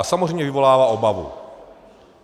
A samozřejmě vyvolává obavu.